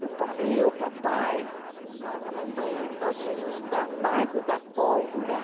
E o pa, eu, o papai, a mamãe, nós íamos na largo da pólvora.